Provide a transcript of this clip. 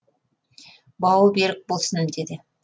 бауы берік болсын деді